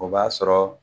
O b'a sɔrɔ